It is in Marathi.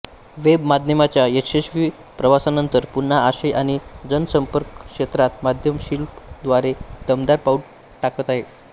वेबमाध्यमाच्या यशस्वी प्रवासानंतर पुन्हा आशय आणि जनसंपर्क क्षेत्रात माध्यमशिल्प द्वारे दमदार पाऊल टाकत आहोत